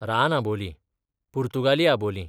रान आबोलीं, पुर्तुगाली आबोलीं